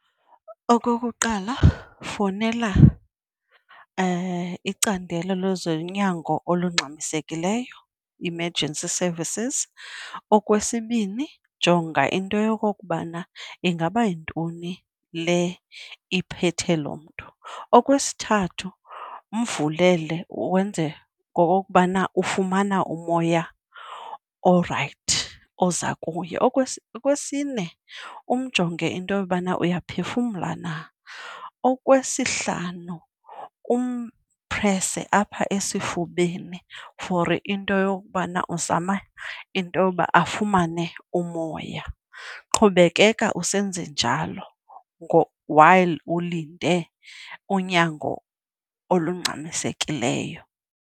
Okokuqala, fowunela icandelo lwezonyango olungxamisekileyo, emergency services. Okwesibini, jonga into yokokubana ingaba yintoni le iphethe lo mntu. Okwesithathu, mvulele wenze ngokokubana ufumana umoya orayithi oza kuye. Okwesine, umjonge into yobana uyaphefumla na. Okwesihlanu, umphrese apha esifubeni for into yokubana uzama intoba afumane umoya. Qhubekeka usenze njalo while ulinde unyango olungxamisekileyo.